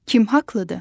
Kim haqlıdır?